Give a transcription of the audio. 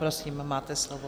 Prosím, máte slovo.